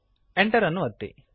Enter ಅನ್ನು ಒತ್ತಿರಿ